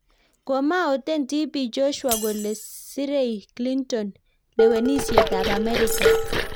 Komaoten tipii Josua kolee sirei Clinton lewenisiet ab amerika